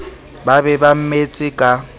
ba be ba mmetse ka